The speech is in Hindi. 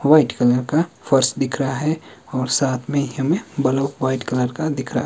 व्हाइट कलर का फर्श दिख रहा है और साथ में यहां में हमें बलफ व्हाइट कलर का दिख रहा --